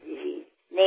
এয়া মোৰ সৌভাগ্য হব